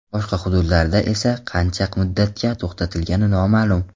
Boshqa hududlarda esa qancha muddatga to‘xtatilgani noma’lum.